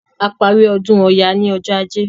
A parí ọdún Ọya ní ọjọ́ Ajé.